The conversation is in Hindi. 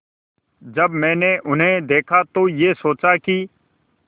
जब मैंने उन्हें देखा तो ये सोचा कि